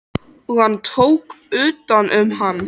Og hann tók utan um hana.